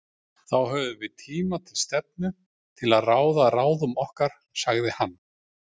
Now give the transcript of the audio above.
Þá höfum við tíma til stefnu til að ráða ráðum okkar, sagði hann.